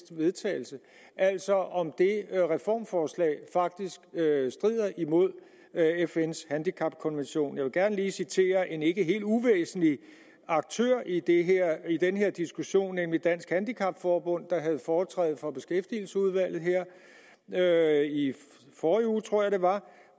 til vedtagelse altså om det reformforslag faktisk strider imod fns handicapkonvention jeg vil gerne lige citere en ikke helt uvæsentlig aktør i i den her diskussion nemlig dansk handicap forbund der havde foretræde for beskæftigelsesudvalget her i forrige uge tror jeg det var